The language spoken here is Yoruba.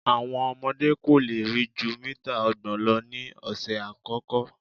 Àwọn ọmọdé́ kò lè rí jú mítà ọgbọ̀n lọ ní ọ̀sẹ̀ àkọ́kọ́.